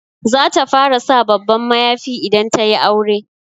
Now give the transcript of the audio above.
Za ta fara sa babban mayafi idan ta yi aure.